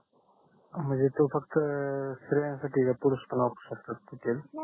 म्हणजे तो फक्त स्त्रियांसाठी आहे का पुरुष पण वापरू शकतात ते तेल